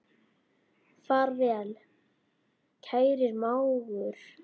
Far vel, kæri mágur.